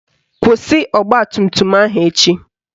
Kwụsị ọgbatumtum ahụ echi